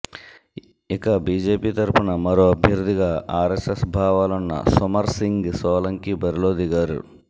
ఇక బీజేపీ తరఫున మరో అభ్యర్థిగా ఆర్ఎస్ఎస్ భావాలున్న సుమర్ సింగ్ సోలంకి బరిలో దిగారు